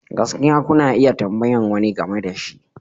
Gaskiya, kuna iya tambayar wani game da shi.